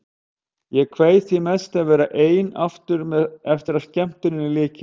Ég kveið því mest að verða ein aftur eftir að skemmtuninni lyki.